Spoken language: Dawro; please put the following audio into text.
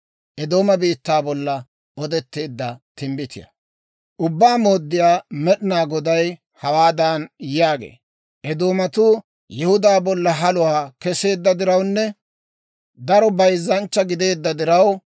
« ‹Ubbaa Mooddiyaa Med'inaa Goday hawaadan yaagee; «Eedoomatuu Yihudaa bolla haluwaa keseedda dirawunne daro bayzzanchcha gideedda diraw,